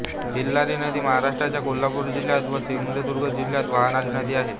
तिल्लारी नदी महाराष्ट्राच्या कोल्हापूर जिल्ह्यात व सिंधुदुर्ग जिल्ह्यात वाहणारी नदी आहे